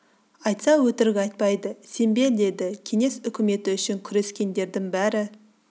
айтса өтірік айтпайды сен бе деді кеңес үкіметі үшін күрескендердің бәрі